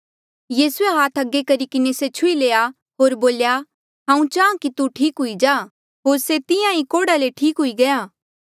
यीसूए हाथ अगे करी किन्हें से छुही लया होर बोल्या हांऊँ चाहां कि तू ठीक हुई जा होर से तिहां ईं कोढ़ा ले ठीक हुई गया